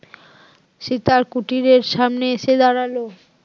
সীতার কুটিরের সামনে এসে দাঁড়ালো